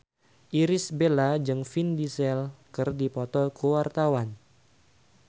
Irish Bella jeung Vin Diesel keur dipoto ku wartawan